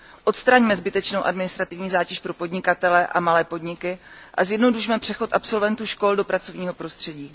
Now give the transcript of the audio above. Odstraňme zbytečnou administrativní zátěž pro podnikatele a malé podniky a zjednodušme přechod absolventů škol do pracovního prostředí.